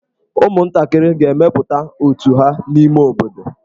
Ụmụntakịrị ga-emepụta otù ha n'ime obodo.